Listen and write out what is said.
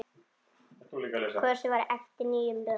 Kosið var eftir nýjum lögum.